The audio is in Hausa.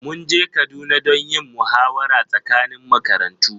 mun je Kaduna don yin muhawara tsakanin makarantu